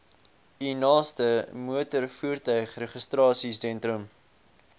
u naaste motorvoertuigregistrasiesentrum